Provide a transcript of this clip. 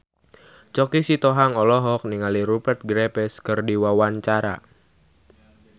Choky Sitohang olohok ningali Rupert Graves keur diwawancara